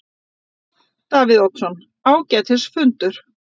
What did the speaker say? Davíð Oddsson: Ágætis fundur.